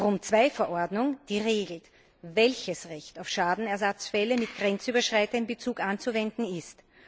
Die Rom II Verordnung regelt, welches Recht auf Schadenersatzfälle mit grenzüberschreitendem Bezug anzuwenden ist.